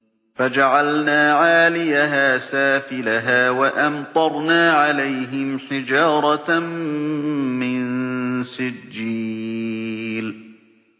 فَجَعَلْنَا عَالِيَهَا سَافِلَهَا وَأَمْطَرْنَا عَلَيْهِمْ حِجَارَةً مِّن سِجِّيلٍ